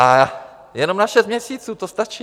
A jenom na šest měsíců, to stačí.